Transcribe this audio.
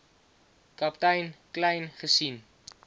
kaptein kleyn gesien